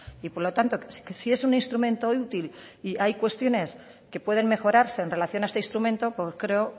y por lo tanto que si es un instrumento útil y hay cuestiones que pueden mejorarse en relación a este instrumento pues creo